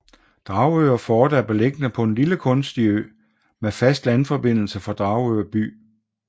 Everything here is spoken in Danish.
Dragør Fort er beliggende på en lille kunstig ø med fast landforbindelse fra Dragør by